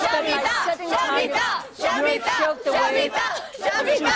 By setting targets, Europe showed the way